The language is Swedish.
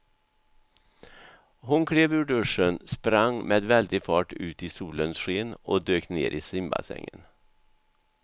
Hon klev ur duschen, sprang med väldig fart ut i solens sken och dök ner i simbassängen.